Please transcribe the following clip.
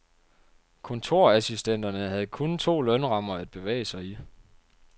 Kontorassistenterne havde kun to lønrammer at bevæge sig i.